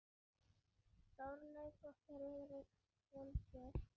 Þórlaug og Friðrik skildu.